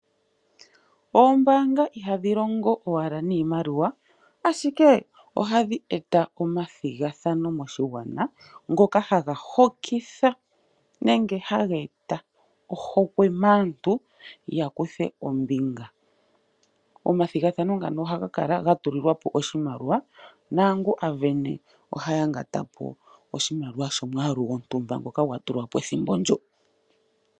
Oombanga ihadhi longo owala niimaliwa Ashike ohadhi eta omathigathano moshigwana ngoka haga hokitha nenge haga eta oohokwe maantu ya lithe ombinga. Omathigathano ngano ohaga kala ga tulilwa po oshimaliwa. Naangu ohaya ngata po oshimaliwa shomwaali gwontumba shoka sha tulwa po ethimbo ndyo.